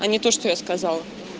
а не то что я сказала